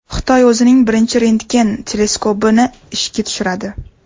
Xitoy o‘zining birinchi rentgen teleskopini ishga tushiradi.